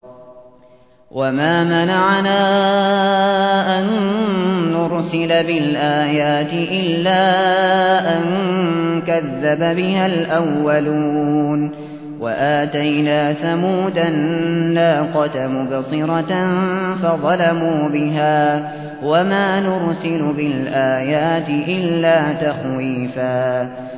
وَمَا مَنَعَنَا أَن نُّرْسِلَ بِالْآيَاتِ إِلَّا أَن كَذَّبَ بِهَا الْأَوَّلُونَ ۚ وَآتَيْنَا ثَمُودَ النَّاقَةَ مُبْصِرَةً فَظَلَمُوا بِهَا ۚ وَمَا نُرْسِلُ بِالْآيَاتِ إِلَّا تَخْوِيفًا